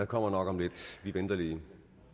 kommer nok om lidt vi venter lige